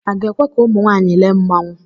A ga-ekwe ka ụmụ nwaanyị lee mmanwụ